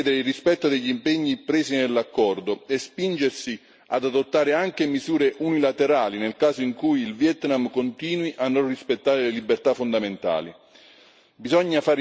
La Commissione deve chiedere il rispetto degli impegni presi nell'accordo e spingersi ad adottare anche misure unilaterali nel caso in cui il Vietnam continui a non rispettare le libertà fondamentali.